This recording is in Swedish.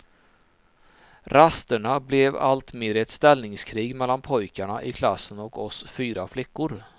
Rasterna blev allt mer ett ställningskrig mellan pojkarna i klassen och oss fyra flickor.